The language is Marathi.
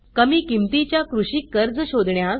कमी किमतीच्या कृषी कर्ज शोधण्यास